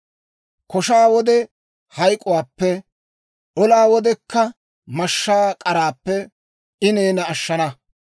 Koshaa wode hayk'k'uwaappe, olaa wodekka mashshaa k'araappe I neena ashshana.